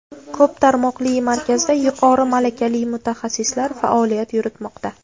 Ko‘p tarmoqli markazda yuqori malakali mutaxassislar faoliyat yuritmoqda.